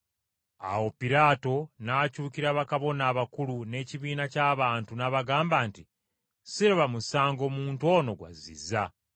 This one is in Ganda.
Awo Piraato n’akyukira bakabona abakulu n’ekibiina ky’abantu n’abagamba nti, “Siraba musango muntu ono gw’azizza.”